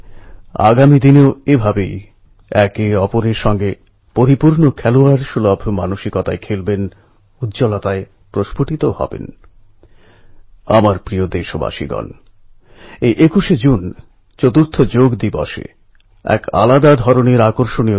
এই পুরো অপারেশানটা কীভাবে চালানো হয় প্রতিটি স্তরে সকলে যে দায়িত্ববোধের পরিচয় দিয়েছেন সেটা সত্যিই অভূতপূর্ব ওখানকার সরকার বাচ্চাদের পিতামাতা পরিবারের লোকজন গণমাধ্যম দেশের নাগরিকবর্গ প্রত্যেকে শান্তি ও ধৈর্যের এক অনুকরণীয় আচরণ করে দেখিয়েছে